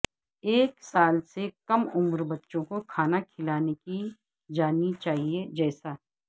ایک سال سے کم عمر بچوں کو کھانا کھلانے کی جانی چاہیے جیسا